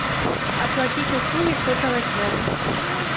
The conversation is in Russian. оплатить услуги сотовой связи